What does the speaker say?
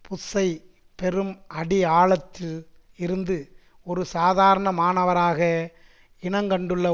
புஷ்சை பெரும் அடி ஆழத்தில் இருந்து ஒரு சாதாரணமானவராக இனங்கண்டுள்ள